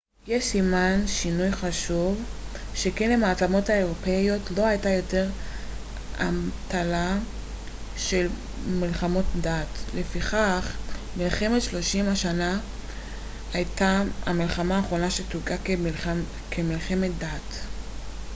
זה סימן שינוי חשוב שכן למעצמות האירופיות לא הייתה יותר האמתלה של מלחמות הדת לפיכך מלחמת שלושים השנה הייתה המלחמה האחרונה שתויגה כמלחמת דת